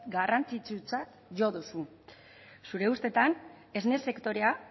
garrantzitsutzat jo duzu zure ustetan esne sektorea